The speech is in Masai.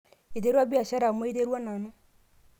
iterua biashara amuu aiterua nanu